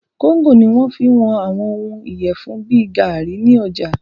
Kóńgò ní wọ́n fí ń wọn àwọn òhún ìyẹfun bìí gaàrí ní ọjà.